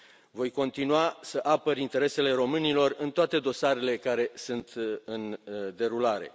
Voi continua să apăr interesele românilor în toate dosarele care sunt în derulare.